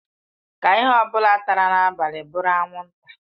Ka ihe ọ bụla tara n'abalị bụrụ anwụnta.